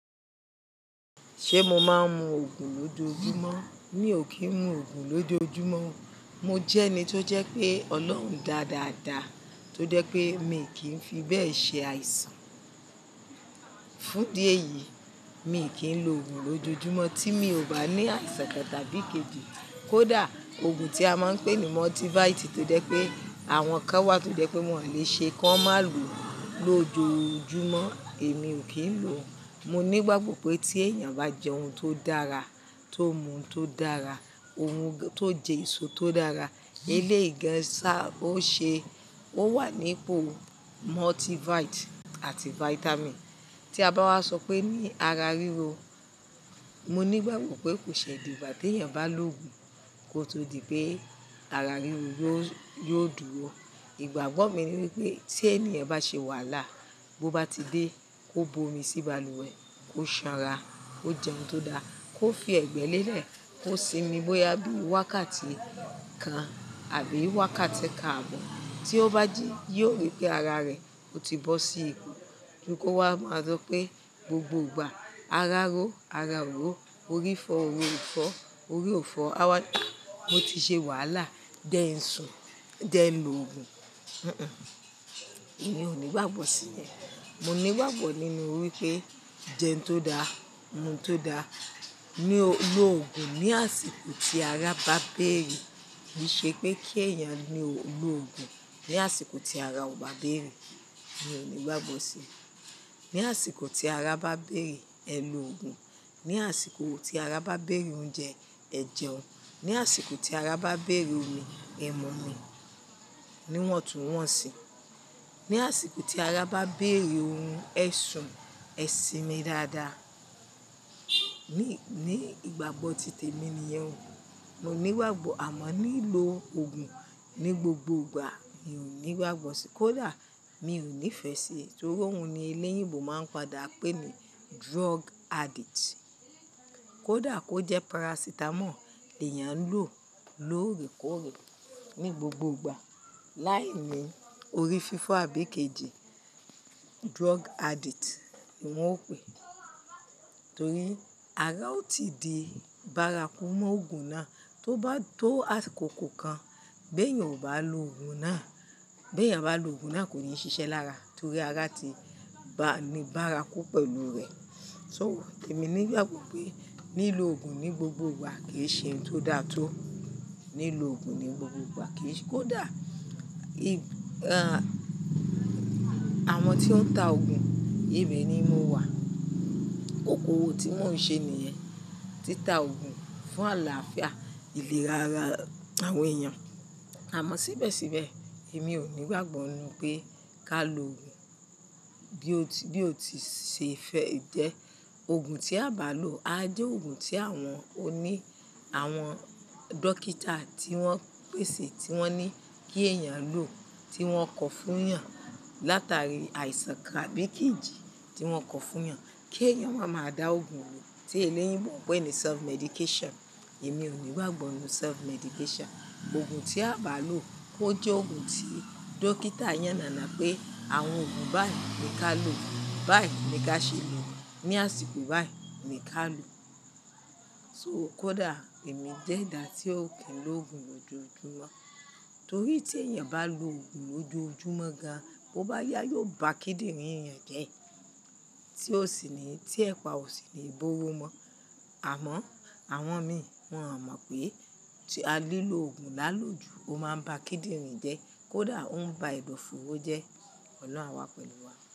Ṣé mo máa ń mu òògùn lójoojúmọ́? Mi ò kí ń mu òògùn lójoojúmọ́. Mo jẹ́ ẹni tó jẹ́ pé Ọlọ́run dá dáadáa, tó jẹ́ pé mi kì í fi bẹ́ẹ̀ ṣe àìsàn. Fún di èyí, mi kì í lo òògùn lójoojúmọ́ tí mi ò bá ní àìsàn kan tàbí kejì. Kódà òògùn tí a máa ń pè ní multivit tó jẹ́ pé àwọn kan wà tó jẹ́ pé wọn à lè ṣe kí wọ́n má lo lójoojúmọ́, èmi ò kí ń lo. Mo ní ìgbàgbọ́ pé tí èèyàn bá jẹ ohun tó dára, tó mu ohun tó dára, ohun tó jẹ èso tó dára, èléyìí gan sa ó ṣe, ó wà nípo multivit àti vitamin. Tí a bá wá sọ pé ní ara ríro, mo ní ìgbàgbọ́ pé kò ṣe dígbà tè èyàn bá lo òògùn kó tó di pé ara ríro yóò, yóò dúró. Ìgbàgbọ́ mi ni wípé tí ẹniyàn bá ṣe wàhálà, bó bá ti dé, kó bo omi sí balùwẹ̀, kó sanra, kó jẹ ohun tó da, kó fi ẹ̀gbẹ́ lélẹ̀, kó sinmi bóyá bí i wákàtí kan àbí wákàtí karùn-ún. Tí ó bá jí yóò rí pé ara rẹ̀ ó ti bọ́ sí ìpò. Ju kò wá máa sọ pé gbogbo ìgbà ara ró, ara ò ró, orí fọ́, orí ò fọ́, orí ò fọ́. Awá n a, mo ti ṣe wàhálà jẹ ń sùn, jẹ ń lo òògùn. Èéh, èmi ò ní ìgbàgbọ́ sí yẹn. Mo ní ìgbàgbọ́ nínú wípé jẹun tó da, mu òun tó da. Ni o-- lo òògùn ní àsìkò tí ara bá béèrè. Kì í ṣe pé kí èèyàn ni o-- lo òògùn ní àsìkò tí ara ò bá béèrè. Mi ò ní ìgbàgbọ́ sí. Ní àsìkò tí ara bá béèrè, ẹ lo òògùn. Ní àsìkò tí ara bá béèrè oúnjẹ, ẹ jẹun. Ní àsìkò tí ara bá béèrè omi, ẹ mu omi. Ni wọn tú wọn si. Ní àsìkò tí ara bá béèrè ohún, ẹ sùn, ẹ sinmi dáadáa. Ni, ní ìgbàgbọ́ ti tèmi ni iyẹn. Mo ní ìgbàgbọ́ àmọ́ ní ì lo òògùn ní gbogbo ìgbà, mi ò ní ìgbàgbọ́ sí. Kódà mi ò ní ìfẹ́ sí i, torí óun ni eléyìíbo máa ń padà pè ní drug addict. Kódà kó jẹ́ paracetamol lèèyàn ń lò lóòrèkóòrè ní gbogbo ìgbà. Lái ni orí fífọ́ àbí kejì, drug addict wọn ó pè. Torí ara ó ti di bárakú mọ́ òògùn náà, tó bá tó àsìkò ko kan, bí èèyàn ò bá lo òògùn náà, bí èèyàn bá lo òògùn náà kò ní ṣiṣẹ́ lára, torí ara ti ba-- ni bárakú pẹ̀lú rẹ̀. So èmi ní ìgbàgbọ́ pé ní ì lo òògùn ní gbogbo ìgbà kì í ṣe ohun tó dáa tó. Ní ì lo òògùn ní gbogbo ìgbà kì í ṣe-- kódà ì, à, àwọn tí ó ń ta òògùn, ibẹ ni mo wà. Okòwò tí mo ń ṣe nìyẹn. Tí ta òògùn fún àlàáfíà ìlera ara àwọn èèyàn. Àmọ́ síbẹ̀síbẹ̀ èmi ò ní ìgbàgbọ́ nínú pé ká lo òògùn bí ó ti, bí ó ti ṣe fẹ́ jẹ́. Òògùn tí a bá lo, a jẹ́ òògùn tí àwọn oní, àwọn dókítà tí wọ́n pèsè tí wọ́n ní kí èèyàn lò, tí wọ́n kọ fún èèyàn látàrí àìsàn kan àbí kejì tí wọ́n kọ fún èèyàn kí èèyàn wá máa dá òògùn àwọn tí eléyìíbo ń pè ní self medication. Èmi ò ní ìgbàgbọ́ nínú self medication. Òògùn tí a bá lò kó jẹ́ òògùn tí dókítà yánnànà pé àwọn òògùn báyìí ni ká lò, báyìí ni ká ṣe lò, ní àsìkò báyìí ni ká lò. So kódà èmi jẹ́ ẹ̀dà tí ò kí ń lo òògùn lójoojúmọ́. Torí tí èèyàn bá lo òògùn lójoojúmọ́ ga, bó bá yá yóò ba kídìnrín èèyàn jẹ́. Tí ó sì ní, tí ẹ̀pa ò sì ní ìbóró mọ́. Àmọ́ àwọn mi, wọn ò mọ̀ pé tí a lílò òògùn lálòjù ó máa ń ba kídìnrín jẹ́. Kódà ó ń ba ẹdọ fóòro jẹ́. Ọlọ́run àwa pẹ̀lú wa.